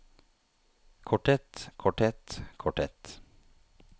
korthet korthet korthet